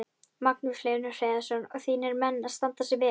Magnús Hlynur Hreiðarsson: Og þínir menn að standa sig vel?